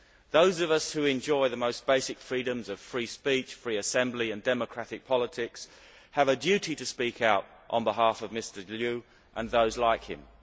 Those of us who enjoy the most basic freedoms of free speech and free assembly and democratic politics have a duty to speak out on behalf of Mr Liu and those like him.